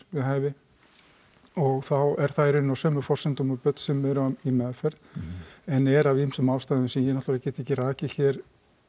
við hæfi og þá er það í rauninni á sömu forsendum og börn sem eru í meðferð en er af ýmsum ástæðum sem ég náttúrulega get ekki rakið hér